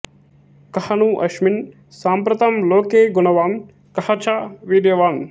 కఃను అస్మిన్ సాంప్రతం లోకే గుణవాన్ కః చ వీర్యవాన్